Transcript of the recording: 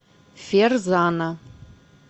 ферзана